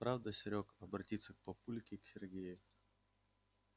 правда серёг обратился папулька к сергею